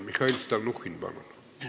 Mihhail Stalnuhhin, palun!